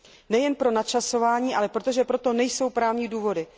Nejen pro načasování, ale protože pro to nejsou právní důvody.